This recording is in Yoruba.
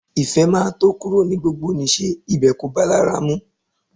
Ìfẹ́ máa tó kúrò ní gbogbonìṣe, ibẹ̀ kò bá a lára mu